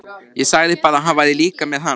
Ég sagði bara að hann væri líka með HANA.